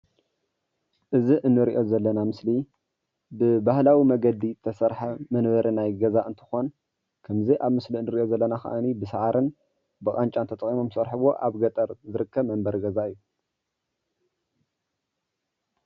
እዚ እንሪኦ ዘለና ምስሊ ብባህላዊ መንገዲ ዝተሰርሐ መንበሪ ናይ ገዛ እንትኮን ከምዚ ኣብ ምስሊ እንሪኦ ዘለና ከዓ ብሳዕሪን ብቃንጫን ተጠቂሞም ዝሰርሕዎ ኣብ ገጠር ዝርከብ መንበሪ ገዛ እዩ፡፡